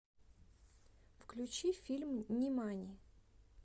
включи фильм нимани